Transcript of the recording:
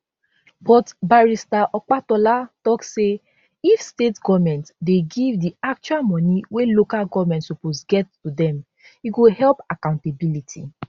but barrister opatola tok say if state goments dey give di actual moni wey local goments suppose get to dem e go help accountability